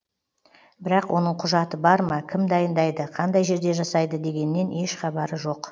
бірақ оның құжаты бар ма кім дайындайды қандай жерде жасайды дегеннен еш хабары жоқ